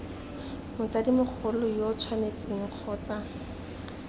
motsadi mogolo yo tshwanetseng kgotsa